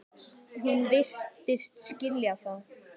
Hún virtist skilja það.